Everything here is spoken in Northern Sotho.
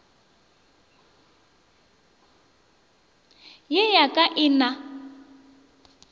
ye ya ka e na